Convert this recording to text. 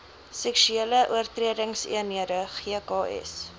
seksuele oortredingseenhede gks